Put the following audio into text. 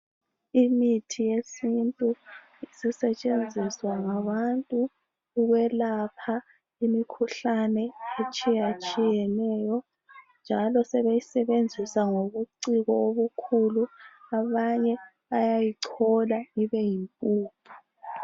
Imithi yesintu isisetshenziswa ngabantu ukwelapha imikhuhlane etshiye tshiyeneyo, njalo sebeyisebenzisa ngobuciko obukhulu, abanye bayayichola ibeyimpuphu.